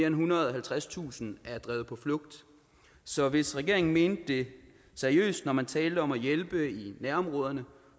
ethundrede og halvtredstusind er drevet på flugt så hvis regeringen mente det seriøst når man taler om at hjælpe i nærområderne